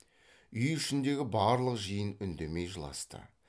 үй ішіндегі барлық жиын үндемей жыласты